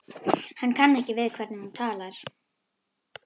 Hann kann ekki við hvernig hún talar.